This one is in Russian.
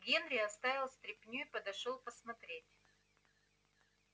генри оставил стряпню и подошёл посмотреть